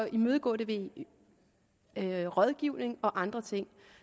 imødegå det via rådgivning og andre ting